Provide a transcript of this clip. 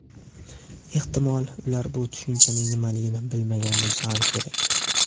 Ehtimol, ular bu tushunchaning nimaligini bilmagan bo‘lsa ham kerak.